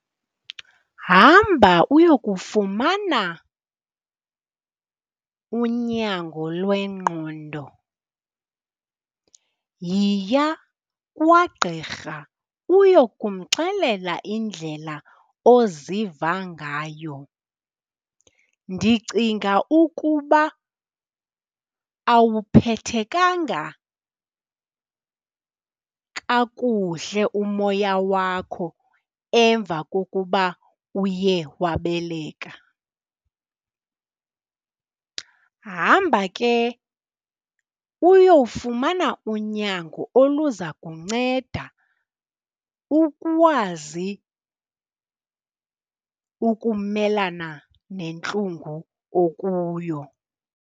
Hamba uyokufumana unyango lwengqondo. Yiya kwagqirha uyokumxelela indlela oziva ngayo. Ndicinga ukuba awuphethekanga kakuhle umoya wakho emva kokuba uye wabeleka. Hamba ke uyowufumana unyango oluza kunceda ukwazi ukumelana nentlungu okuyo.